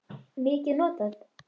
mikið notað?